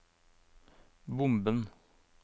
bomben